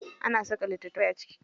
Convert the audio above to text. Ana saka littatafai a ciki.